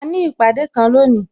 A ní ìpàdé kan lónìí